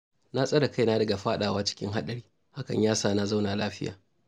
Na tsare kaina daga faɗawa cikin haɗari, hakan ya sa na zauna lafiya